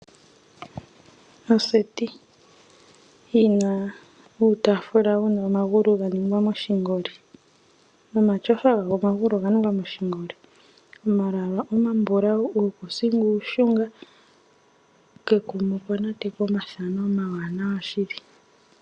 Oseti yina uutafula wuna oma gu ga ningwa moshingoli, nomatyofa omagulu oga ningwa moshingoli; oma lwaala oma mbulau, uukusinga uushunga, ko kekuma okwa natekwa omathano omawanawa shili.